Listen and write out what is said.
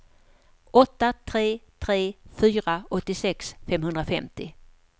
åtta tre tre fyra åttiosex femhundrafemtio